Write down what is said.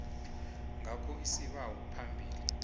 ngakho isibawo phambilini